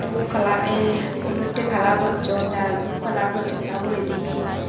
dhup colour a olottey colour gochun tey aro dhub colour gochun tey uguredi he.